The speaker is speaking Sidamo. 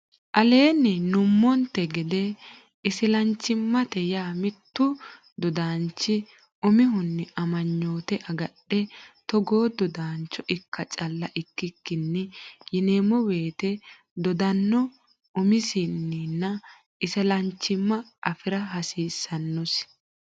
Aleenni nummonte gede islaanchimmate yaa mittu dodaanchi Umihunni amaanyoote agadha togo dodaancho ikka calla ikkikkinni yineemmo woyte dodaano uminsanni isilanchimma afi ra hasiissannosi.